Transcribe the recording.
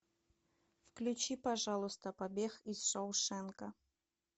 включи пожалуйста побег из шоушенка